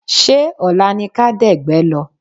Ṣé ọ̀la ni ká dẹ̀gbẹ́ lọ́?